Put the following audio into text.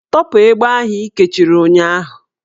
Tọpụ egbe ahụ ị kechiri ụnyahụ!